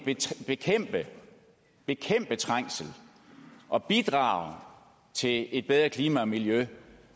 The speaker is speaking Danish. bekæmpe trængsel og bidrage til et bedre klima og miljø